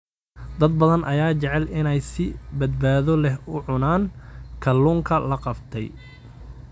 Dad badan ayaa jecel inay si badbaado leh u cunaan kalluunka la qabtay.